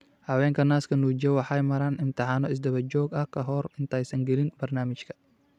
Haweenka naaska nuujiya waxay maraan imtixaano isdaba joog ah ka hor intaysan gelin barnaamijka.